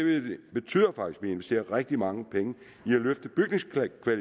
betyder faktisk at vi investerer rigtig mange penge